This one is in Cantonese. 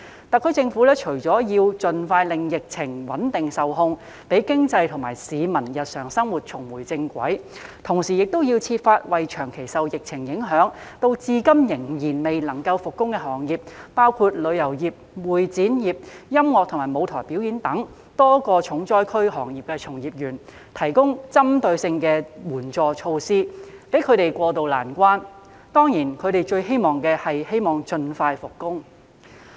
特區政府除了要盡快穩定及控制疫情，讓經濟和市民日常生活重回正軌，同時亦要設法為長期受疫情影響，至今仍然未能復工的行業，包括旅遊業、會展業、音樂及舞台表演等多個重災區行業的從業員，提供針對性的援助措施，幫助他們渡過難關，當然他們最希望的還是能夠盡快復工。